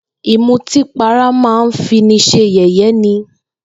Ìmutípara máa ń fini s̩e yè̩yé̩ ni